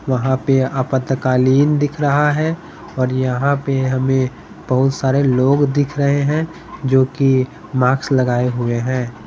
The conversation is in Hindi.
वहां पे आपतकालीन दिख रहा है और यहां पे हमें बहुत सारे लोग दिख रहे हैं जो कि मार्क्स लगाए हुए हैं।